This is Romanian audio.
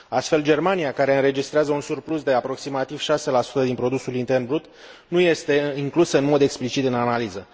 Astfel, Germania, care înregistrează un surplus de aproximativ 6 din produsul intern brut, nu este inclusă în mod explicit în analiză.